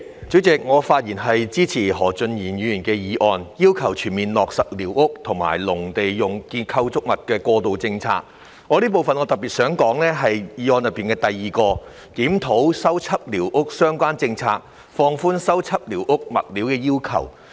主席，我發言支持何俊賢議員提出"全面落實寮屋及農用構築物過渡政策"的議案，並特別希望在此談談當中的第二點，亦即"檢討修葺寮屋相關政策，放寬修葺寮屋物料的要求"。